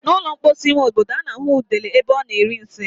N' ụlọ mposi ime obodo, a na-ahụ udele ebe ọ na-eri nsị.